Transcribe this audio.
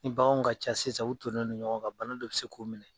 Ni baganw ka ca sisan u tonnen do ɲɔgɔn ka bana dɔ bɛ se k'u minɛ.